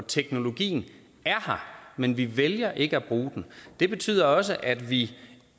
teknologien er her men vi vælger ikke at bruge den det betyder også at vi